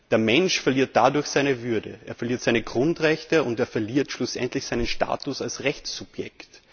Der Mensch verliert dadurch seine Würde, er verliert seine Grundrechte und er verliert schlussendlich seinen Status als Rechtssubjekt.